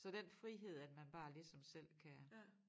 Så den frihed at man bare ligesom selv kan